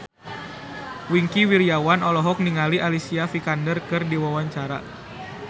Wingky Wiryawan olohok ningali Alicia Vikander keur diwawancara